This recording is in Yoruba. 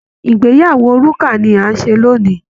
ìgbeyàwó Rukà ni à ń ṣe lónìí